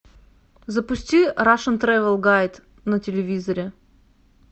запусти рашн трэвел гайд на телевизоре